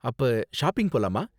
அப்ப ஷாப்பிங் போலாமா?